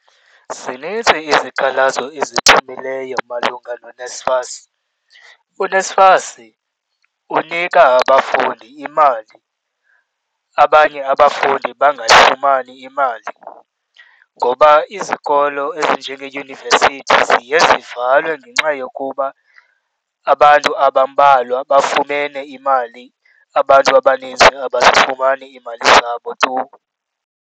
Zinintsi izikhalazo eziphumileyo malunga noNSFAS. U-NSFAS unika abafundi imali, abanye abafundi bangayifumani imali, ngoba izikolo ezinjengeeyunivesithi ziye zivalwe ngenxa yokuba abantu abambalwa bafumene imali abantu abaninzi abazifumani iimali zabo tu.